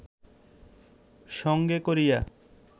সঙ্গে করিয়া